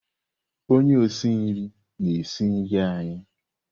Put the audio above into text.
Onye osi nri na-esi nri anyị.